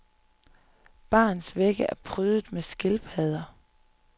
Barens vægge er prydet med skildpadder.